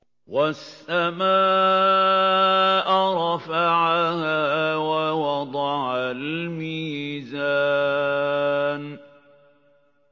وَالسَّمَاءَ رَفَعَهَا وَوَضَعَ الْمِيزَانَ